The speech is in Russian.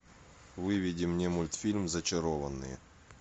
выведи мне мультфильм зачарованные